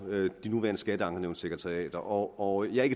de nuværende skatteankenævnssekretariater og jeg er